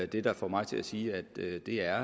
det der får mig til at sige at det er